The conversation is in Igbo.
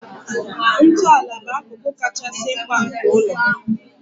Ntọala bụ akụkụ kachasị mkpa nke ụlọ